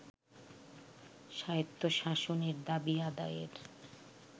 স্বায়ত্তশাসনের দাবি আদায়ের